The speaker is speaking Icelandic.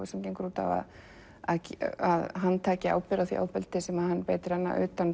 sem gengur út á að hann taki ábyrgð á því ofbeldi sem hann beitir hana utan